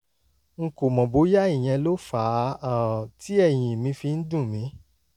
n kò mọ̀ bóyá ìyẹn ló fà á um tí ẹ̀yìn mi fi ń dùn mí